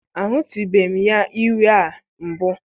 Ahụtụbeghị m ya iwe a mbụ.